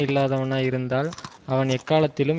இல்லாதவனாய் இருந்தால் அவன் எக்காலத்திலும்